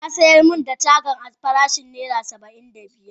Ya sayar min da cagan a farashin naira Saba'in da biyar.